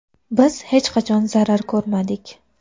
Biz hech qachon zarar ko‘rmadik.